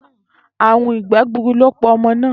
Àrùn ìgbé̩ gburu ló pa o̩mo̩ náà